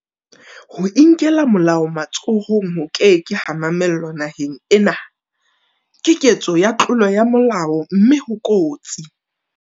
Ho inkela molao matsohong ho ke ke ha mamellwa naheng ena, Ke ketso ya tlolo ya molao mme ho kotsi.